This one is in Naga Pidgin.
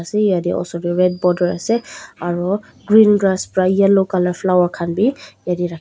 yatheh osor dae tuh border ase aro green grass pra yellow colour flower khan bhi yateh rakhi--